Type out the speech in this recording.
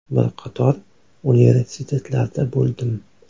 Bir qator universitetlarda bo‘ldim.